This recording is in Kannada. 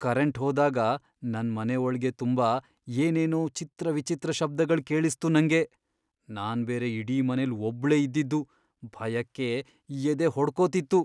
ಕರೆಂಟ್ ಹೋದಾಗ ನನ್ ಮನೆ ಒಳ್ಗೆ ತುಂಬಾ ಏನೇನೋ ಚಿತ್ರವಿಚಿತ್ರ ಶಬ್ದಗಳ್ ಕೇಳಿಸ್ತು ನಂಗೆ.. ನಾನ್ ಬೇರೆ ಇಡೀ ಮನೆಲ್ ಒಬ್ಳೇ ಇದ್ದಿದ್ದು, ಭಯಕ್ಕೆ ಎದೆ ಹೊಡ್ಕೋತಿತ್ತು.